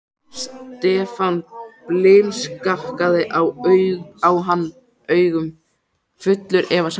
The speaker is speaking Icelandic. Stefán blimskakkaði á hann augum, fullur efasemda.